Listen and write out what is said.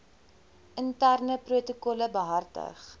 interne protokolle behartig